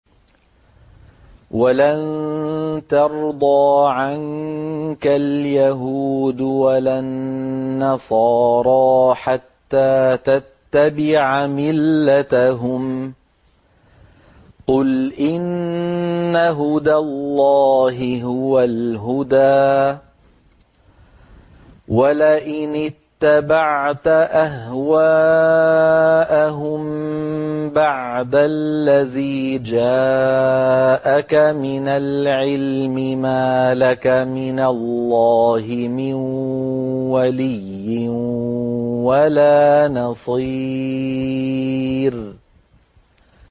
وَلَن تَرْضَىٰ عَنكَ الْيَهُودُ وَلَا النَّصَارَىٰ حَتَّىٰ تَتَّبِعَ مِلَّتَهُمْ ۗ قُلْ إِنَّ هُدَى اللَّهِ هُوَ الْهُدَىٰ ۗ وَلَئِنِ اتَّبَعْتَ أَهْوَاءَهُم بَعْدَ الَّذِي جَاءَكَ مِنَ الْعِلْمِ ۙ مَا لَكَ مِنَ اللَّهِ مِن وَلِيٍّ وَلَا نَصِيرٍ